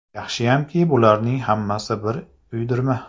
Yaxshiyamki bularning hammasi bir uydirma.